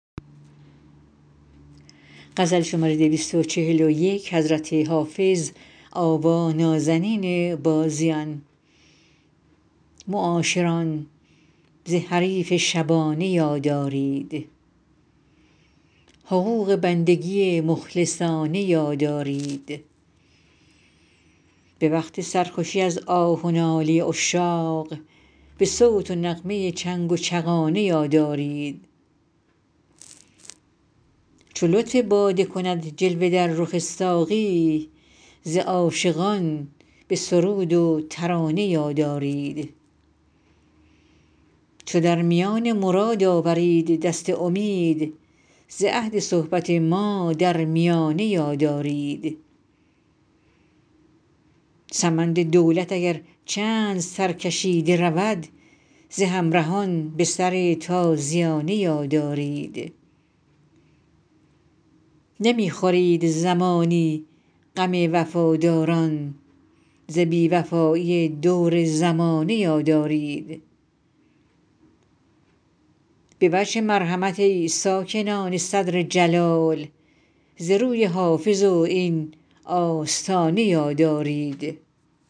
معاشران ز حریف شبانه یاد آرید حقوق بندگی مخلصانه یاد آرید به وقت سرخوشی از آه و ناله عشاق به صوت و نغمه چنگ و چغانه یاد آرید چو لطف باده کند جلوه در رخ ساقی ز عاشقان به سرود و ترانه یاد آرید چو در میان مراد آورید دست امید ز عهد صحبت ما در میانه یاد آرید سمند دولت اگر چند سرکشیده رود ز همرهان به سر تازیانه یاد آرید نمی خورید زمانی غم وفاداران ز بی وفایی دور زمانه یاد آرید به وجه مرحمت ای ساکنان صدر جلال ز روی حافظ و این آستانه یاد آرید